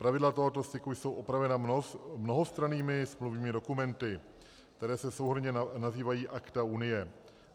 Pravidla tohoto styku jsou upravena mnohostrannými smluvními dokumenty, které se souhrnně nazývají akta unie.